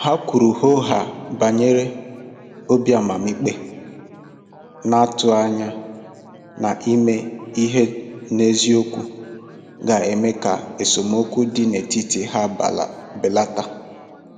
Ha kwuru hoo haa banyere obi amamikpe, na-atụ anya na ime ihe n'eziokwu ga-eme ka esemokwu dị n'etiti ha belata.